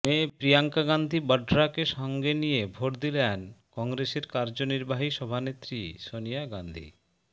মেয়ে প্রিয়াঙ্কা গান্ধি বঢরাকে সঙ্গে নিয়ে ভোট দিলেন কংগ্রেসের কার্যনির্বাহী সভানেত্রী সনিয়া গান্ধি